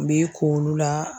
N b'i k'olu la